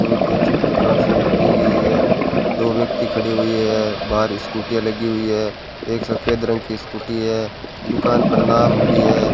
बहोत ही अच्छी प्रकार से ली गई है दो व्यक्ति खड़ी हुई है बाहर स्कूटीयां लगी हुई है एक सफेद रंग की स्कूटी है दुकान पर नाम भी है।